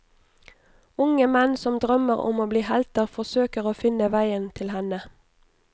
Unge menn som drømmer om å bli helter forsøker å finne veien til henne.